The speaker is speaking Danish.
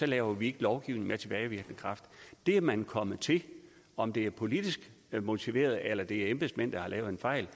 laver vi ikke lovgivning herinde med tilbagevirkende kraft det er man kommet til om det er politisk motiveret eller om det er embedsmænd der har lavet en fejl